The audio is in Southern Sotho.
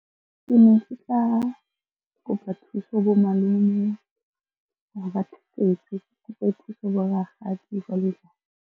Ke ne ke tla kopa thuso bo malome hore ba thusetse. Ke bo rakgadi jwalo-jwalo.